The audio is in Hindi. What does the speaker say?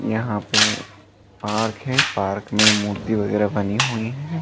यहाँ पे पार्क है पार्क में मूर्ति वगैरा बनी हुई हैं।